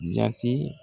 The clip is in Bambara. Jate